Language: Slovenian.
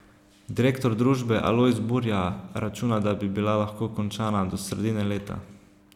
Direktor družbe Alojz Burja računa, da bi bila lahko končana do sredine leta.